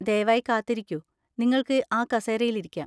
ദയവായി കാത്തിരിക്കൂ, നിങ്ങൾക്ക് ആ കസേരയിൽ ഇരിക്കാം.